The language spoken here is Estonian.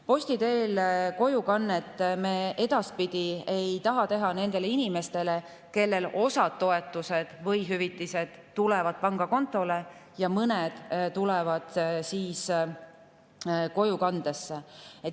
Posti teel kojukannet ei taha me edaspidi nendele inimestele, kellel osa toetusi või hüvitisi tulevad pangakontole ja mõni tuuakse koju.